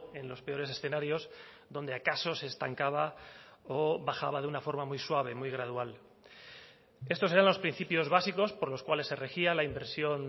en los peores escenarios donde acaso se estancaba o bajaba de una forma muy suave muy gradual estos eran los principios básicos por los cuales se regía la inversión